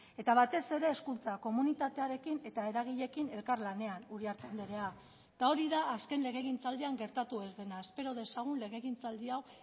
eta batez ere hezkuntza komunitatearekin eta eragileekin elkarlanean uriarte andrea eta hori da azken legegintzaldian gertatu ez dena espero dezagun legegintzaldi hau